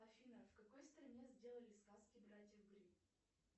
афина в какой стране сделали сказки братьев гримм